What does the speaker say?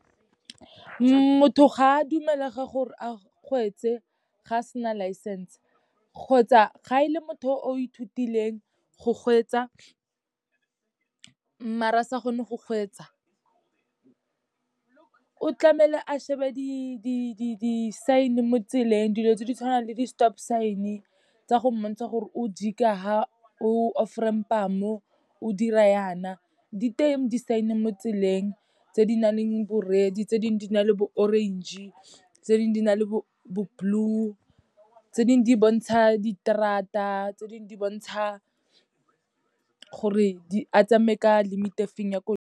Motho ga a dumelega gore a kgweetse ga a sena license, kgotsa ga e le motho o ithutileng go kgweetsa mara a sa kgone go kgweetsa. O tlamehela a shebe di-sign-e mo tseleng, dilo tse di tshwanang le di-stop sign-e, tsa go mmontsha gore o jika ha, o offramp-a mo, o dira yaana. Di teng di-sign-e mo tseleng tse di nang le bo-red, tse dingwe di na le bo-orange, tse dingwe di na le bo-blue, tse dingwe di bontsha di terata, tse dingwe di bontsha gore a tsamaye ka limit e feng ya .